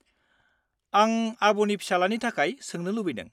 आं आब'नि फिसालानि थाखय सोंनो लुबैदों।